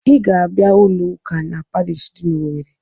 Ị ga-abịa ụlọ ụka na pariishi dị n'Owerre!